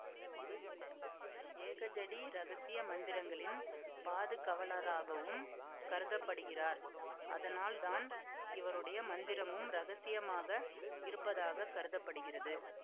ஏகஜடி ரகசிய மந்திரங்களின் பாதுகவலராகவும் கருத படுகிறார் அதனால் தான் இவருடைய மந்திரமும் இரகசியமாக இருப்பதாக கருத படுகிறது